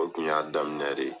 O kun y'a daminɛ de ye.